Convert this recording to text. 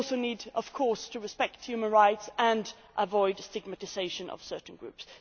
We also need, of course, to respect human rights and avoid stigmatisation of certain groups.